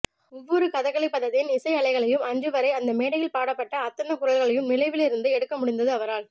ஒவ்வொரு கதகளிப்பதத்தின் இசைஅலைகளையும் அன்று வரை அந்த மேடையில் பாடப்பட்ட அத்தனை குரல்களையும் நினைவிலிருந்து எடுக்க முடிந்தது அவரால்